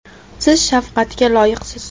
Siz shafqatga loyiqsiz.